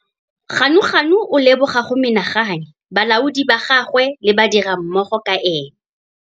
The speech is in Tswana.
Ganuganu o leboga go mena gane balaodi ba gagwe le badirimmogo ka ene.